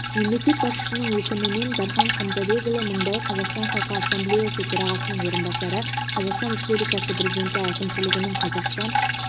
мемлекет басшысының өкімімен дархан қамзабекұлы мыңбай қазақстан халқы ассамблеясы төрағасының орынбасары қазақстан республикасы президенті әкімшілігінің қазақстан